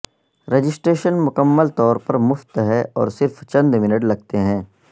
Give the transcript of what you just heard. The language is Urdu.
رجسٹریشن مکمل طور پر مفت ہے اور صرف چند منٹ لگتے ہیں